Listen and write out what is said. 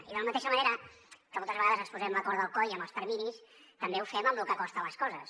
i de la mateixa manera que moltes vegades ens posem la corda al coll amb els terminis també ho fem amb lo que costen les coses